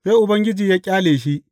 Sai Ubangiji ya ƙyale shi.